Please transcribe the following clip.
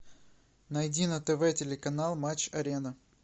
найди на тв телеканал матч арена